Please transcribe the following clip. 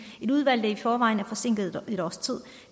et udvalg der i forvejen er forsinket et års tid